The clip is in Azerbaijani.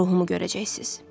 Mənim ruhumu görəcəksiz.